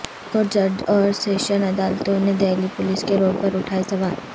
high court جج اور session عدالتوں نے دہلی پولیس کے رول پر اٹھائے سوال